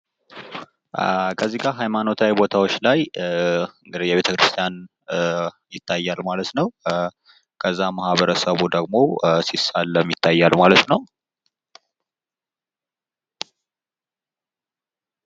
ከዚህ ጋር ሃይማኖታዊ ቦታዎች ላይ ቤተክርስቲያን ይታያል ማለት ነው። ከዛ ማህበረሰቡ ደግሞ ሲሳለም ይታያል ማለት ነው።